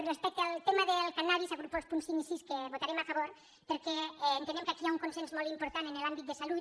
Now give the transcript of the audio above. respecte al tema del cànnabis agrupo els punts cinc i sis que votarem a favor perquè entenem que aquí hi ha un consens molt important en l’àmbit de salut